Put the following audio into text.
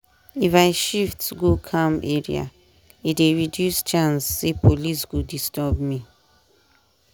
if i shift go calm area e dey reduce chance say police go disturb me.